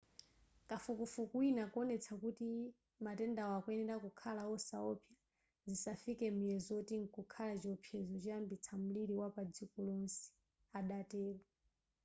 kafukufuku wina akuwonetsa kuti matendawa akuyenera kukhala osawopsa zisanafike muyezo oti mkukhala chiopsezo choyambitsa mliri wapadziko lonse adatero